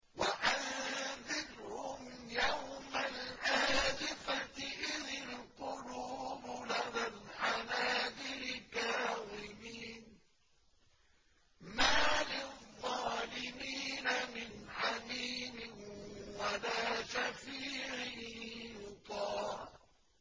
وَأَنذِرْهُمْ يَوْمَ الْآزِفَةِ إِذِ الْقُلُوبُ لَدَى الْحَنَاجِرِ كَاظِمِينَ ۚ مَا لِلظَّالِمِينَ مِنْ حَمِيمٍ وَلَا شَفِيعٍ يُطَاعُ